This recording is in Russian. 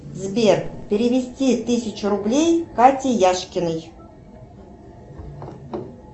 сбер перевести тысячу рублей кате яшкиной